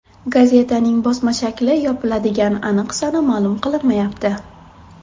Gazetaning bosma shakli yopiladigan aniq sana ma’lum qilinmayapti.